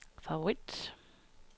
favorit